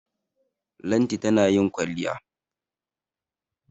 Lanti tana yin kwalliya.